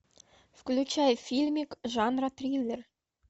включай фильмик жанра триллер